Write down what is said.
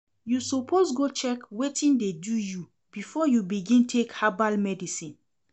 You suppose go check wetin dey do you before you begin take herbal medicine.